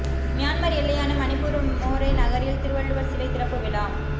Myanmar எல்லையான மணிப்பூர் மோரே நகரில் திருவள்ளுவர் சிலை திறப்பு விழா